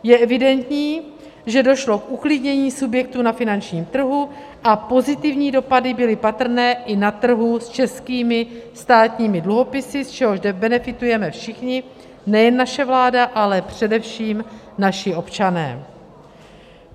Je evidentní, že došlo k uklidnění subjektů na finančním trhu, a pozitivní dopady byly patrné i na trhu s českými státními dluhopisy, z čehož benefitujeme všichni, nejen naše vláda, ale především naši občané.